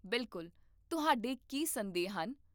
ਬਿਲਕੁਲ, ਤੁਹਾਡੇ ਕੀ ਸੰਦੇਹ ਹਨ?